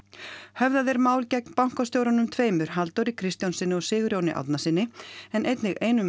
höfðað er mál gegn bankastjórunum tveimur Halldóri Kristjánssyni og Sigurjóni Árnasyni en einnig einum